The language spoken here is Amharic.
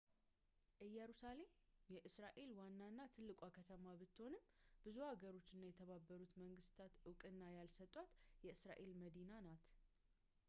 እየሩሳሌም የእስራኤል ዋናና ትልቋ ከተማ ብትሆንም ብዙ ሀገሮች እና የተባበሩት መንግስተታት እውቅና ያልሰጧት የእስራኤል መዲና ናት